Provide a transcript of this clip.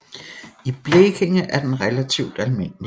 I Blekinge er den relativt almindelig